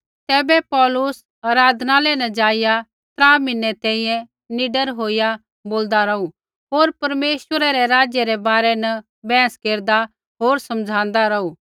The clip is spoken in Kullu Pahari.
तैबै पौलुस आराधनालय न ज़ाइआ त्रा म्हीनै तैंईंयैं निडर होईया बोलदा रौहू होर परमेश्वरै रै राज्य रै बारै न बैहस केरदा होर समझ़ाँदा रौहू